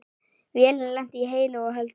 Vélin lenti heilu og höldnu.